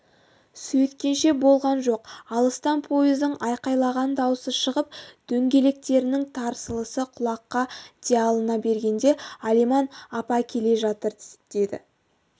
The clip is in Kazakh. сөйткенше болған жоқ алыстан пойыздың айқайлаған даусы шығып дөңгелектерінің тарсылы құлаққа диалына бергенде алиман апа келе жатыр деді